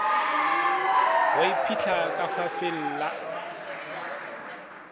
go mphihla ka hwafeng la